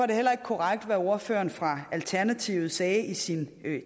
det heller ikke korrekt hvad ordføreren fra alternativet sagde i sin